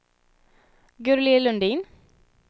Gurli Lundin